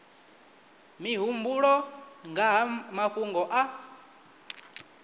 mihumbulo nga ha mafhungo a